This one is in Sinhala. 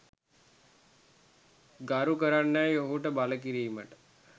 ගරු කරන්නැයි ඔහුට බල කිරීමට